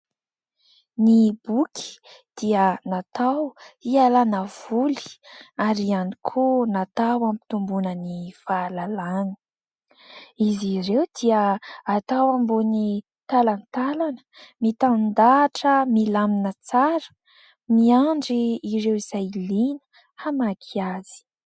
Ny boky dia natao hialana voly ary ihany koa natao ampitombona ny fahalalana, izy ireo dia atao ambony talantalana mitandahatra milamina tsara miandry ireo izay liana hamaky azy.